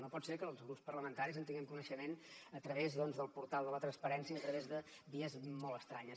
no pot ser que els grups parlamentaris en tinguem coneixement a través del portal de la transparència a través de vies molt estranyes